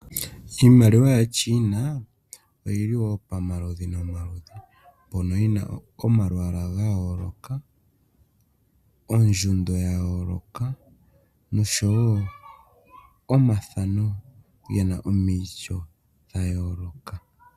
Iimaliwa yaChina oyili wo pomaludhi nomaludhi mbyono yina wo omalwaala ga yooloka, ondjundo ya yooloka noshowo omathano gena gomaityo ga yooloka.